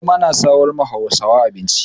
Noma na samarwa Hausawa abinci.